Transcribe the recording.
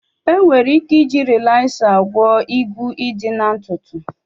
Enwere ike iji Rịlaza gwọ ịgwu ịdị na ntutu